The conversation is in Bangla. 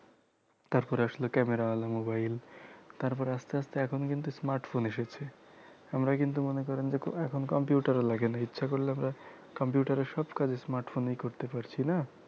তারপর আসলো camera ওলা mobile তারপরে আস্তে আস্তে এখন কিন্তু smartphone এসেছে আমরা কিন্তু মনে করেন যে এখন computer ও লাগেনা ইচ্ছে করলে আমরা computer এর সব কাজ smartphone এই করতে পারছিনা